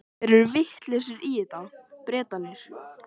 Í leikfiminni sá Afi um sturturnar.